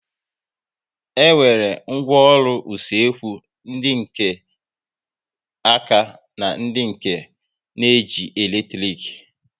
E nwere ngwaọrụ usekwu ndị nke áká na ndị nke na-eji eletrik